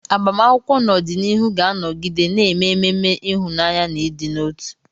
Agbamakwụkwọ n'ọdịnihu ga-anọgide na-eme ememe ịhụnanya na ịdị n'otu.